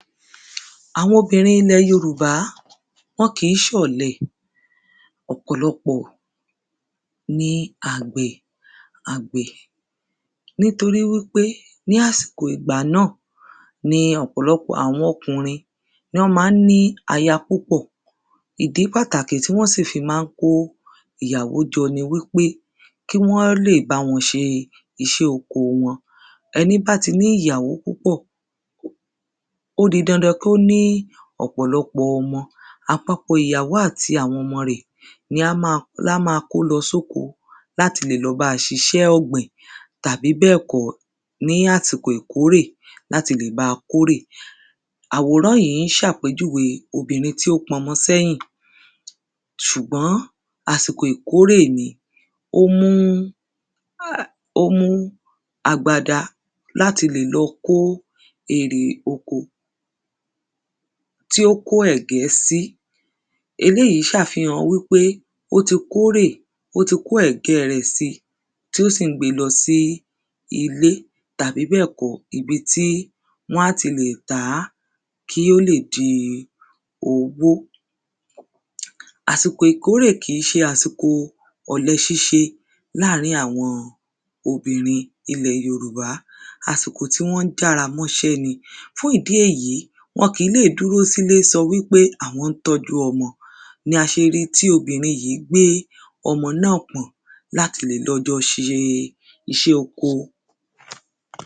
àwọn obìnrin ilẹ̀ Yorùbá, wọn kìí ṣọ̀lẹ, ọ̀pọ̀lọpọ̀ ni àgbẹ̀ nítorí wípé ní àsìkò ìgbà náà ni ọ̀pọ̀lọpọ̀ àwọn ọkùnrin wọn ma ń ní aya púpọ̀ ìdí pàtàkì tí wọ́n sì fi má ń kó ìyàwó jọ ni pé kí wọ́n lè bá wọn ṣe iṣẹ́ oko wọn, ẹní bá ti ní ìyàwó púpọ̀ ó di dandan kí ó ní ọ̀pọ̀lọpọ̀ ọmọ, àpapọ̀ ìyàwó àti àwọn ọmọ rẹ̀ ni a máa kó lọ sí oko láti lè lọ báa ṣiṣẹ́ ọ̀gbìn tàbí bẹ́ẹ̀kọ́ ní àsìkò ìkórè láti lè báa kórè àwòrán yìí ń ṣe àpéjúwe obìnrin tí ó pọnmọ sẹ́yìn, ṣùgbọ́n àsìkò ìkórè ni ó mú agbada láti lè lọ kó ère oko tí oko ẹ̀gẹ́ sí, eléyìí ṣe àfihàn pé ó ti kórè ó ti kó ẹ̀gẹ́ rẹ̀ síi, tí ó sì ń gbé e lọ sí ilé tàbí bẹ́ẹ̀ kọ́ ibi tí wọ́n ti lè tà á, kí ó lè di owó àsìkò ìkórè kìí ṣe àsìkò ọ̀lẹ ṣíṣe láárín àwọn obìnrin ilẹ̀ yorùbá, àsìkò tí wọ́n jára mọ́ṣẹ́ ni fún ìdí èyí, wọ́n kìí lè dúró sí ilé sọ wípé àwọn ń tọ́jú ọmọ ni a ṣe ríi tí obìnrin yìí gbé ọmọ náà pọ̀n láti lè lọ jọ ṣe iṣẹ́ oko